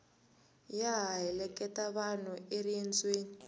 ya ha heleketa vanhu eriendzweni